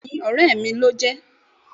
bẹẹni, ore mí lojé